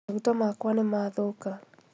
Maguta makwa nĩmathũka